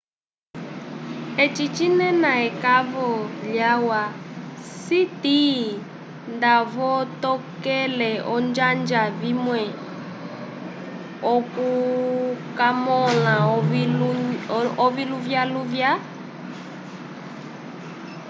eci cinena ekavo lyalwa siti ndavotokele olonjanja vimwe okukamõla oviluvyaluvya